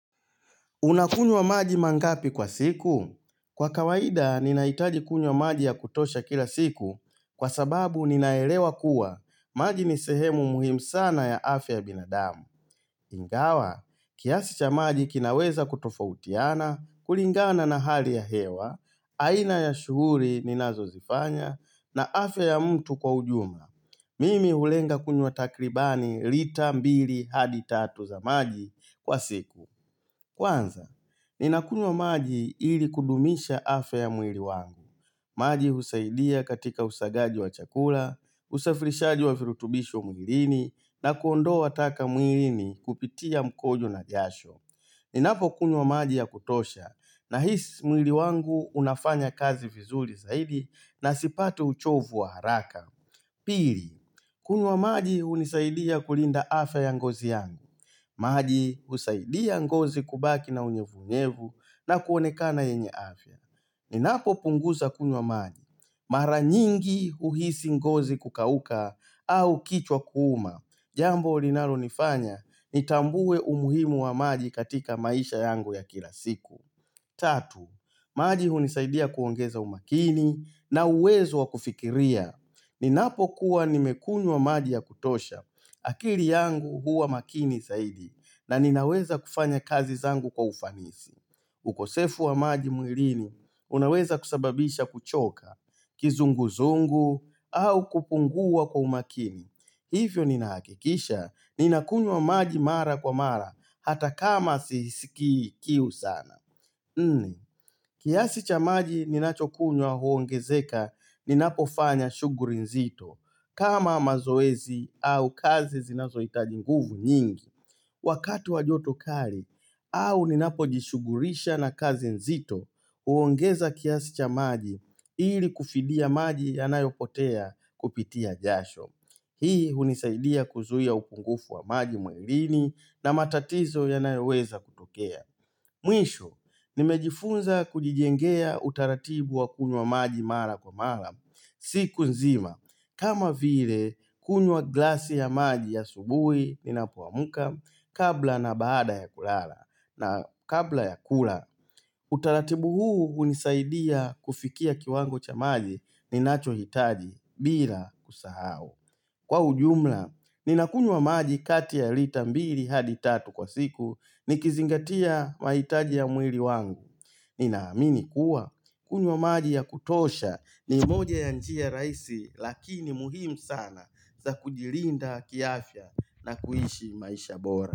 Unakunywa maji mangapi kwa siku? Kwa kawaida, ninahitaji kunywa maji ya kutosha kila siku kwa sababu ninaelewa kuwa maji ni sehemu muhimu sana ya afya ya binadamu. Ingawa, kiasi cha maji kinaweza kutofautiana, kulingana na hali ya hewa, aina ya shughuli ninazozifanya, na afya ya mtu kwa ujumla. Mimi hulenga kunywa takribani lita mbili hadi tatu za maji kwa siku. Kwanza, ninakunywa maji ili kudumisha afya ya mwili wangu. Maji husaidia katika usagaji wa chakula, usafirishaji wa virutubisho mwilini na kuondoa taka mwilini kupitia mkojo na jasho. Ninapokunywa maji ya kutosha nahisi mwili wangu unafanya kazi vizuri zaidi na sipati uchovu wa haraka. Pili, kunywa maji hunisaidia kulinda afya ya ngozi yangu. Maji husaidia ngozi kubaki na unyevunyevu na kuonekana yenye afya. Ninapopunguza kunywa maji. Mara nyingi huhisi ngozi kukauka au kichwa kuuma. Jambo linalonifanya nitambue umuhimu wa maji katika maisha yangu ya kila siku. Tatu, maji hunisaidia kuongeza umakini na uwezo wa kufikiria. Ninapokuwa nimekunywa maji ya kutosha. Akili yangu huwa makini zaidi. Na ninaweza kufanya kazi zangu kwa ufanisi ukosefu wa maji mwilini Unaweza kusababisha kuchoka Kizunguzungu au kupungua kwa umakini Hivyo ninahakikisha Ninakunywa maji mara kwa mara Hata kama sisikii kiu sana kiasi cha maji ninachokunywa huongezeka Ninapofanya shughuli nzito kama mazoezi au kazi zinazohitaji nguvu nyingi Wakati wa joto kali au ninapojishughulisha na kazi nzito huongeza kiasi cha maji ili kufidia maji yanayopotea kupitia jasho. Hii hunisaidia kuzuia upungufu wa maji mwilini na matatizo yanayoweza kutokea. Mwisho, nimejifunza kujijengea utaratibu wa kunywa maji mara kwa mara. Siku nzima, kama vile kunywa glasi ya maji asubuhi ninapomka kabla na baada ya kulala na kabla ya kula. Utaratibu huu hunisaidia kufikia kiwango cha maji ninachohitaji bila kusahau. Kwa ujumla, ninakunywa maji kati ya lita mbili hadi tatu kwa siku nikizingatia mahitaji ya mwili wangu. Ninaamini kuwa, kunywa maji ya kutosha ni moja ya njia rahisi lakini muhimu sana za kujilinda kiafya na kuishi maisha bora.